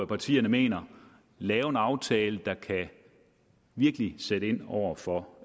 partierne mener og lave en aftale der virkelig kan sætte ind over for